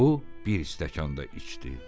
O, bir stəkan da içdi.